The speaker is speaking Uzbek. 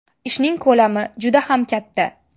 Ishning ko‘lami juda ham katta.